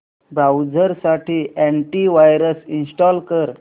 browser साठी anti virus install कर